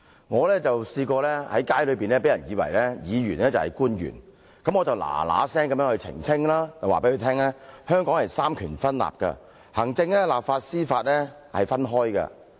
我曾在街上被市民誤以為是官員，我立刻澄清，告訴他香港實行三權分立，行政、立法和司法是分開的。